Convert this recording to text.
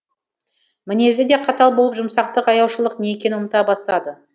мінезі де қатал болып жұмсақтық аяушылық не екенін ұмыта бастады